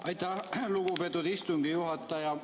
Aitäh, lugupeetud istungi juhataja!